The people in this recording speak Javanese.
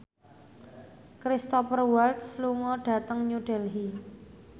Cristhoper Waltz lunga dhateng New Delhi